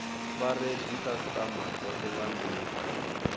fare dzikhasitama dzothe nga ndila